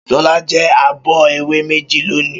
Ṣọlá jẹ abọ́ ẹ̀wà méjì lónìí.